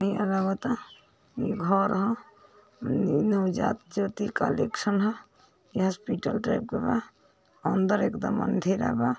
घर ह नवजात ज्योति कलेक्शन ह | यह हॉस्पिटल टाइप के बा | अंदर एकदम अंधेरा बा--